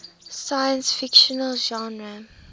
science fiction genre